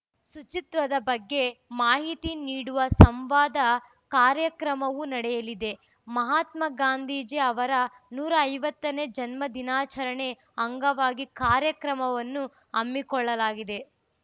ಶುಚಿತ್ವದ ಬಗ್ಗೆ ಮಾಹಿತಿ ನೀಡುವ ಸಂವಾದ ಕಾರ್ಯಕ್ರಮವೂ ನಡೆಯಲಿದೆ ಮಹಾತ್ಮ ಗಾಂಧೀಜಿ ಅವರ ನೂರ ಐವತ್ತನೇ ಜನ್ಮ ದಿನಾಚರಣೆ ಅಂಗವಾಗಿ ಕಾರ್ಯಕ್ರಮವನ್ನು ಹಮ್ಮಿಕೊಳ್ಳಲಾಗಿದೆ